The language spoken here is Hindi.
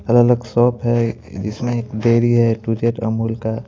अलग अलग शॉप है इसमें एक डेरी है ए टू जेड अमूल का।